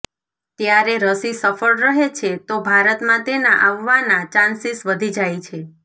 ત્યારે રસી સફળ રહે છે તો ભારતમાં તેના આવવાના ચાન્સિસ વધી જાય છે